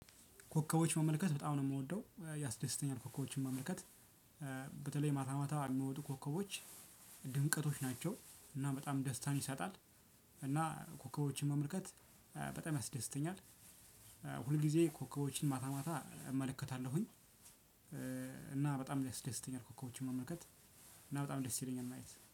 ኮከቦች መመልከት በጣም ነው የምወደው ያስደስተኛል ኮከቦችን መመልከት። በተለይ ማታ ማታ የሚወጡ ኮከቦች ድምቀቶች ናቸው። እና በጣም ደስታን ይሰጣል። እና ኮከቦችን መመልከት በጣም ያስደስተኛል። ሁልጊዜ ኮከቦችን ማታ ማታ እመለከታለሁኝ። እና በጣም ያስደስተኛል ኮከቦችን መመልከት። እና በጣም ደስ ይለኛል ማየት